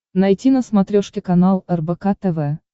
найти на смотрешке канал рбк тв